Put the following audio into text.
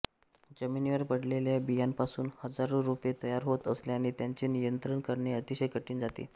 जमिनीवर पडलेल्या बियांपासून हजारो रोपे तयार होत असल्याने त्यांचे नियंत्रण करणे अतिशय कठीण जाते